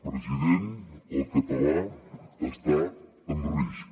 president el català està en risc